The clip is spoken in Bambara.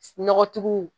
Nɔgɔtigiw